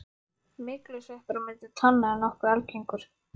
Myglusveppur á milli tánna er nokkuð algengur.